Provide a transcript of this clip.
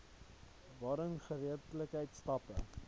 waarin geregtelike stappe